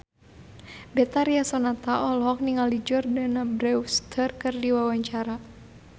Betharia Sonata olohok ningali Jordana Brewster keur diwawancara